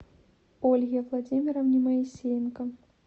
ольге владимировне моисеенко